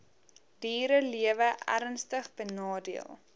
dierelewe ernstig benadeel